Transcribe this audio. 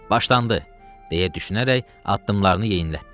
Başlandı, deyə düşünərək addımlarını yeyinlətdi.